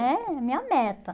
É a minha meta.